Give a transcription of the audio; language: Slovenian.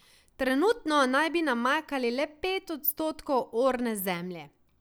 Trenutno naj bi namakali le pet odstotkov orne zemlje.